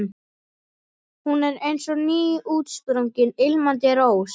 Hún er eins og nýútsprungin, ilmandi rós.